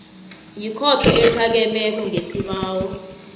yikhotho ephakemeko ngesibawo